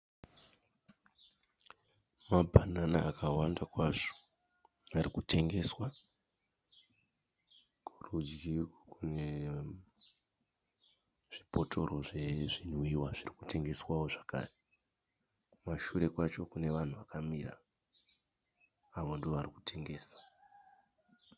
Mabhanana akawanda kwazvo ari kutengeswa. Kurudyi kune zvibhotoro zvezvimwiwa zviri kutengeswawo zvakare. Kumashure kwacho kune vanhu vakamira, avo ndivo vari kutengesa.